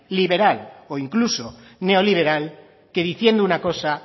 liberal o incluso neoliberal que diciendo una cosa